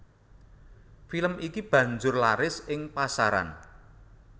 Film iki banjur laris ing pasaran